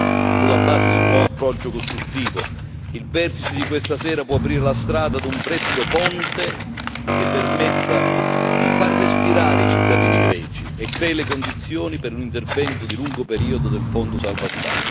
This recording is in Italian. Sulla base di un nuovo approccio costruttivo, il vertice di questa sera può aprire la strada a un prestito ponte che permetta di far respirare i cittadini greci e crei le condizioni per un intervento di lungo periodo del Fondo salva Stati.